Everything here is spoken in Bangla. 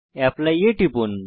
অ্যাপলি এ টিপুন